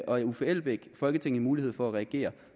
og herre uffe elbæk folketinget en mulighed for at reagere